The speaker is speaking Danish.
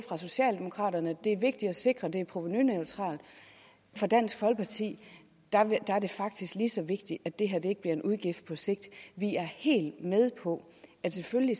socialdemokraterne det vigtigt at sikre at det er provenuneutralt og for dansk folkeparti er det faktisk lige så vigtigt at det her ikke bliver en udgift på sigt vi er helt med på at selvfølgelig